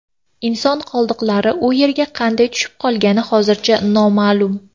Inson qoldiqlari u yerga qanday tushib qolgani hozircha noma’lum.